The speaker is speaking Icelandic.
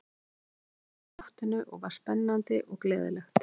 Í fyrstu eitthvað sem lá í loftinu og var spennandi og gleðilegt.